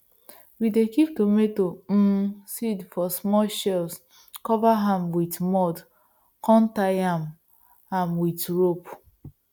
we dey kip tomato um seeds for small shells cover am wit mud come tie am am wit rope